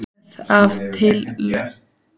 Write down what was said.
Röð af tilviljunum, Heimsstyrjöldin og tangó.